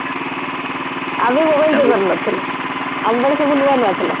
ଆମେ mobile ଯୁଗର ନଥିଲୁ ଆମ ବେଳେ ସବୁ ନୂଆ ନୂଆ ଥିଲା